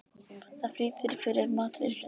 Það flýtir fyrir matreiðslunni.